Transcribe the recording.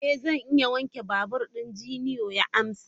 Eh, zan iya wanke babur dinki, Junior ya amsa.